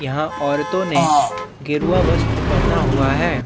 यहाँ औरतों ने गेरुआ वस्त्र पहना हुआ है।